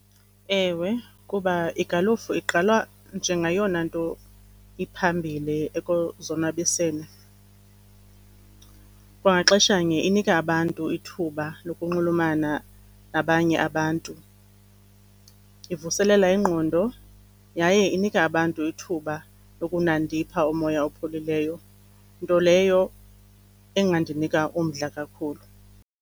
Ewe, kuba igalufu igqalwa njengeyona nto iphambili ekuzonwabiseni. Kwangaxeshanye inika abantu ithuba nokunxulumana nabanye abantu, ivuselela ingqondo yaye inika abantu ithuba lokunandipha umoya opholileyo, nto leyo engandinika umdla kakhulu.